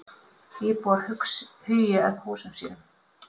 Íbúar hugi að húsum sínum